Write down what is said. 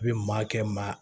I bi maa kɛ maa